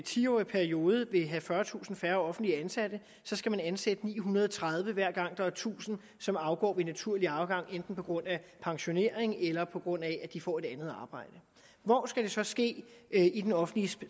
ti årig periode vil have fyrretusind færre offentligt ansatte skal man ansætte ni hundrede og tredive hver gang der er tusind som afgår ved naturlig afgang enten på grund af pensionering eller på grund af at de får et andet arbejde hvor skal det så ske i den offentlige